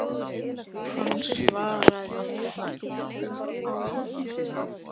Hann svaraði ekki, hélt áfram.